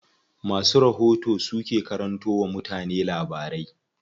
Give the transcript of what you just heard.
Masu rahoto su ke karanto wa mutane labarai.